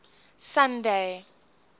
sunday